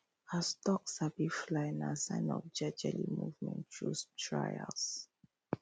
as duck sabi fly nah sign of jejeli movement tru trials